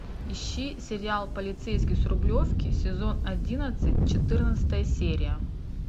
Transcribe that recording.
ищи сериал полицейский с рублевки сезон одиннадцать четырнадцатая серия